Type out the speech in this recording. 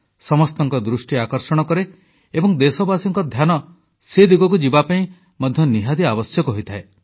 ସମସ୍ତଙ୍କ ଦୃଷ୍ଟି ଆକର୍ଷଣ କରେ ଏବଂ ଦେଶବାସୀଙ୍କ ଧ୍ୟାନ ସେ ଦିଗକୁ ଯିବା ମଧ୍ୟ ନିହାତି ଆବଶ୍ୟକ ହୋଇଥାଏ